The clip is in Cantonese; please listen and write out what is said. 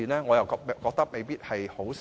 我覺得未必是好事。